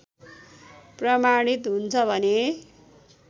प्रमाणित हुन्छ भने